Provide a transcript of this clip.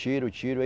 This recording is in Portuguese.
Tiro, tiro. aí